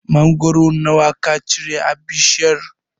Mangoro nawa ka cira a bishiyar?